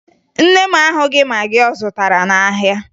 Nne m ahụghị magị ọ zụtara n'ahịa